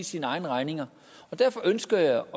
sine egne regninger og derfor ønsker jeg